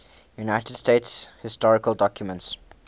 united states historical documents